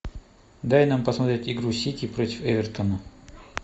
дай нам посмотреть игру сити против эвертона